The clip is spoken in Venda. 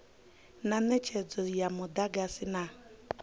na netshedzo ya mudagasi na